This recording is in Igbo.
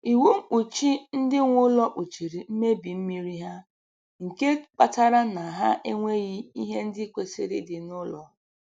Iwu mkpuchi ndị nwe ụlọ kpuchiri mmebi mmiri ha nke kpatara na ha enweghị ihe ndị kwesịrị ịdị n'ụlọ